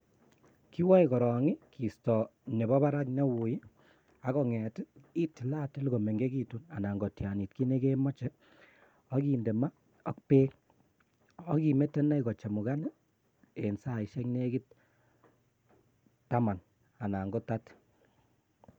Kiwoe korong kisto nepo barak neui ak konget itillatil komengegitun ana kotianit kinegemoje ak indema ak bek ok imete ine kochemukan en saishek negit taman anan kotati.